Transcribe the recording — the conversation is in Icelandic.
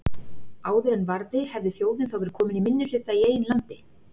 Áður en varði hefði þjóðin þá verið komin í minnihluta í eigin landi.